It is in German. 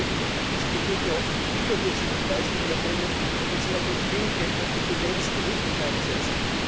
Studien belegen, dass Behinderte oft überdurchschnittliche Leistungen erbringen, wenn man sie nach ihren Fähigkeiten und Kompetenzen richtig einsetzt.